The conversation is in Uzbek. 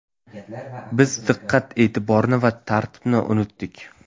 Biz diqqat-e’tiborni va tartibni unutdik.